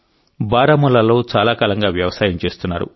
బారాముల్లాలో చాలా కాలంగా వ్యవసాయం చేస్తున్నారు